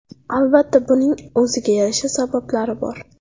Albatta, buning o‘ziga yarasha sabablari bor.